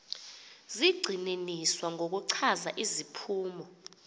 zigxininiswa ngokuchaza iziphumo